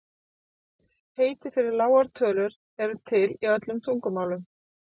Heiti fyrir lágar tölur eru til í öllum tungumálum.